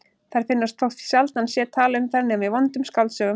Þær finnast þótt sjaldan sé talað um þær nema í vondum skáldsögum.